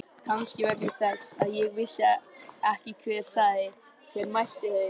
Kannski vegna þess að ég vissi ekki hver sagði. hver mælti þau.